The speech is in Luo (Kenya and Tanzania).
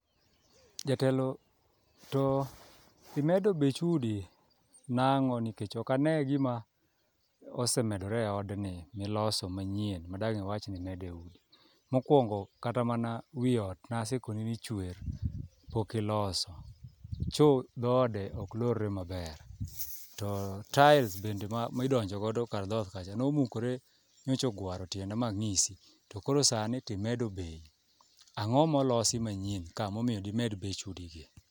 Jatelo to imedo bech udi nang'o nikech ok ane gima osemedore e odni miloso manyien madang' iwach nimedo e udi. Mokwongo kata mana wi ot nasekoni ni chwer pok iloso, cho dhoode oklorre maber to tails bende midonjogodo kar dhot kacha nomukore nyochogwaro tienda mang'isi to koro sani timedo bei, ang'o molosi manyien ka momiyo dimed bech udigi?